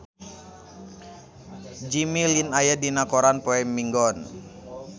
Jimmy Lin aya dina koran poe Minggon